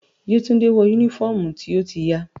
Yetunde wọ unifọmú ti o ti ya.